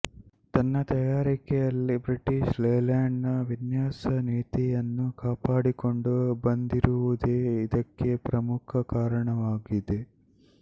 ತನ್ನ ತಯಾರಿಕೆಯಲ್ಲಿ British Leyland ನ ವಿನ್ಯಾಸ ನೀತಿಯನ್ನು ಕಾಪಾಡಿಕೊಂಡು ಬಂದಿರುವುದೇ ಇದಕ್ಕೆ ಪ್ರಮುಖ ಕಾರಣವಾಗಿದೆ